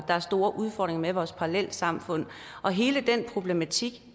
er store udfordringer med vores parallelsamfund og hele den problematik